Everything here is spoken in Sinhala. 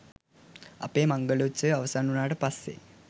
අපේ මංගල උත්සවය අවසන් වුණාට පස්සේ